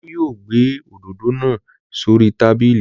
Olú yóò gbé òdòdó náa s'ori tábìlì.